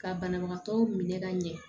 Ka banabagatɔw minɛ ka ɲɛ